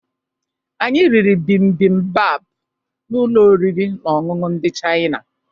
Anyị riri bimbimbap na ụlọ oriri na ọṅụṅụ ndị Chaịna